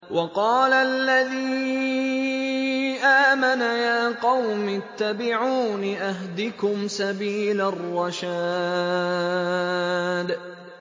وَقَالَ الَّذِي آمَنَ يَا قَوْمِ اتَّبِعُونِ أَهْدِكُمْ سَبِيلَ الرَّشَادِ